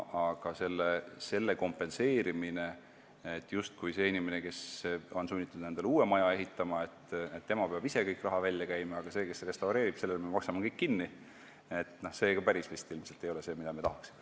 Aga see, et inimene, kes on sunnitud endale uue maja ehitama, peab ise kogu raha välja käima, aga sellele, kes restaureerib, me maksame kõik kinni, ei ole vist ka päris see, mida me tahaksime.